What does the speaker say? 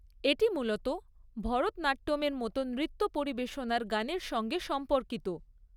এটি মূলত ভরতনাট্যমের মতো নৃত্য পরিবেশনার গানের সঙ্গে সম্পর্কিত।